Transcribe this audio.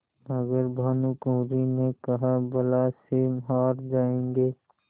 मगर भानकुँवरि ने कहाबला से हार जाऍंगे